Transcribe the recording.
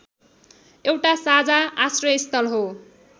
एउटा साझा आश्रयस्थल हो